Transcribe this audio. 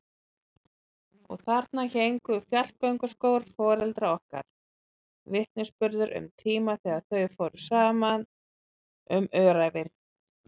Og þarna héngu fjallgönguskór foreldra okkar, vitnisburður um tíma þegar þau fóru saman um öræfin.